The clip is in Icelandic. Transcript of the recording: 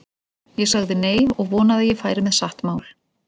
Ég sagði nei, og vonaði að ég færi með satt mál.